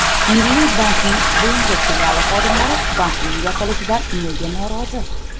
Milliy banki Bulung‘ur filiali xodimlari bankning yopilishidan nega norozi?.